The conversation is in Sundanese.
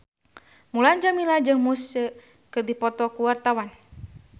Mulan Jameela jeung Muse keur dipoto ku wartawan